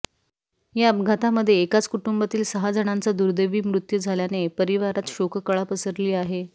या अपघातामध्ये एकाच कुटुंबातील सहा जणांचा दुर्दैवी मृत्यू झाल्याने परिसरावर शोककळा पसरली आहे